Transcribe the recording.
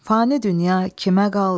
Fani dünya kimə qaldı?